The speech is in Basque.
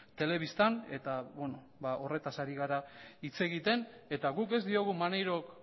telebistan eta beno horretaz ari gara hitz egiten eta guk ez diogu maneirok